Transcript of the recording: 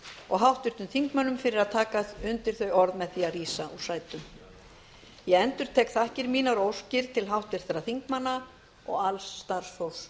og háttvirtum þingmönnum fyrir að taka undir þau orð með því að rísa úr sætum ég endurtek þakkir mínar og óskir til háttvirtra þingmanna og alls starfsfólks